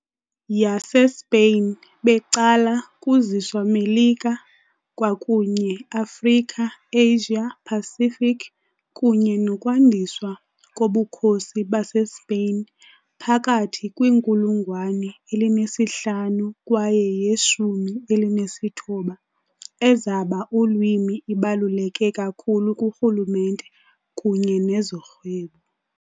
YaseSpain becala kuziswa Melika kwakunye Afrika Asia Pacific, kunye nokwandiswa koBukhosi baseSpeyin phakathi kwiinkulungwane elinesihlanu kwaye yeshumi elinesithoba, ezaba ulwimi ibaluleke kakhulu kurhulumente kunye nezorhwebo.